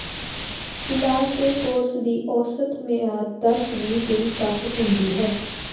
ਇਲਾਜ ਦੇ ਕੋਰਸ ਦੀ ਔਸਤ ਮਿਆਦ ਦਸ ਵੀਹ ਦਿਨ ਤੱਕ ਹੁੰਦੀ ਹੈ